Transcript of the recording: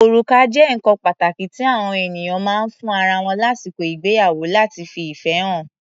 Orùká jẹ́ nǹkan pàtàkí tí àọ ènìyàn máa ń fún ara wọn lásìkò ìgbéyàwó láti fi ìfẹ́ hàn.